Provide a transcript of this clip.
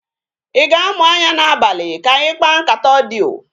I ga-amụ anya n'abalị ka anyị kpaa nkata odiyo?